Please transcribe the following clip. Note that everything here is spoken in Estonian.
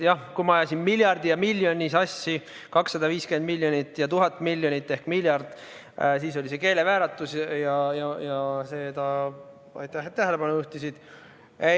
Jah, kui ma ajasin siin miljardi ja miljoni sassi, 250 miljonit ja 1000 miljonit ehk miljard, siis oli see keelevääratus ja aitäh, et sellele tähelepanu juhtisid.